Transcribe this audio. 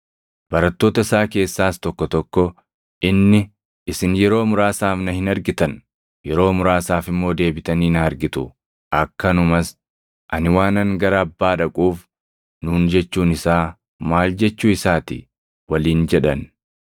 Barattoota isaa keessaas tokko tokko, “Inni, ‘Isin yeroo muraasaaf na hin argitan; yeroo muraasaaf immoo deebitanii na argitu’ akkanumas ‘Ani waanan gara Abbaa dhaquuf’ nuun jechuun isaa maal jechuu isaa ti?” waliin jedhan.